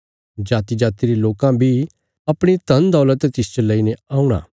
जातिजाति रे लोकां बी अपणी धनदौलत तिसच लेईने औणा